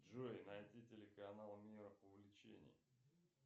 джой найди телеканал мир увлечений